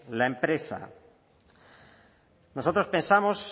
la empresa nosotros pensamos